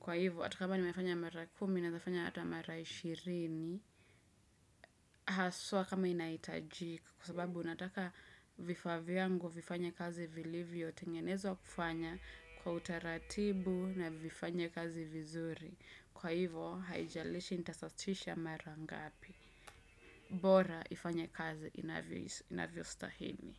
Kwa hivyo hata kama nimefanya mara kumi naeza fanya hata mara ishirini haswa kama inahitajika kwa sababu nataka vifaa vyangu vifanye kazi vilivyotengenezwa kufanya kwa utaratibu na vifanye kazi vizuri. Kwa hivyo, haijalishi nitasasisha marangapi. Bora ifanye kazi inavyostahili.